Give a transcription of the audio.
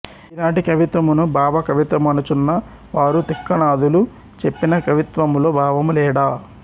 ఈనాటి కవిత్వమును భావ కవిత్వమనుచున్న వారు తిక్కనాదులు చెప్పిన కవిత్వములో భావము లేడా